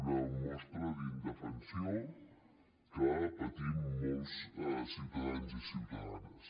una mostra d’indefensió que patim molts ciutadans i ciutadanes